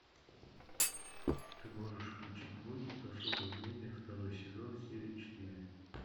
ты можешь включить мультик особое мнение второй сезон серия четыре